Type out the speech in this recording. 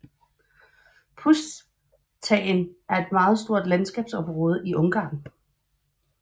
Pusztaen er et meget stort landskabsområde i Ungarn